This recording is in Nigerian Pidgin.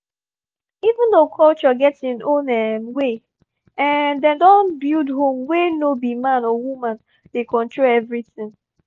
even though culture get him own um way um dem don build home wey no be man or woman dey control everything